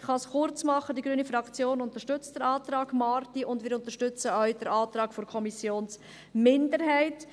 Ich kann es kurz machen, die grüne Fraktion unterstützt den Antrag Marti, und wir unterstützen auch den Antrag der Kommissionsminderheit.